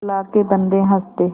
अल्लाह के बन्दे हंस दे